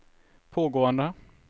pågående